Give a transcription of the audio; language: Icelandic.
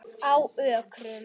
Á Ökrum